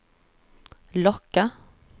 locka